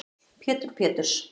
Pétur Péturs